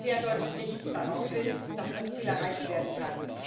Bisher deutet nichts darauf hin, dass das Ziel erreicht werden kann.